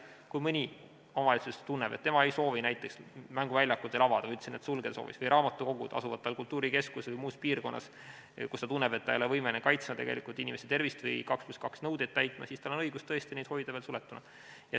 Kui mõni omavalitsus tunneb, et tema ei soovi näiteks mänguväljakuid veel avada või raamatukogud asuvad tal kultuurikeskuses või muus sellises piirkonnas, kus ta tunneb, et ta ei ole võimeline kaitsma inimese tervist või 2 + 2 nõudeid täitma, siis tal on õigus tõesti hoida neid veel suletuna.